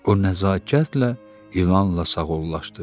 O nəzakətlə ilanla sağollaşdı.